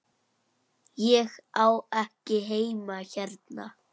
Ég á ekki heima hérna.